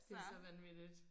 Det så vanvittigt